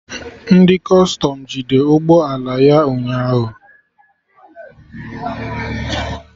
Ndị Kọstọm jide ụgbọ ala ya ụnyaahụ